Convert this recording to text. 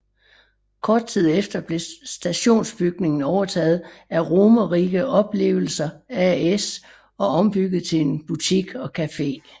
Kort tid efter blev stationsbygningen overtaget af Romerike Opplevelser AS og ombygget til en butik og café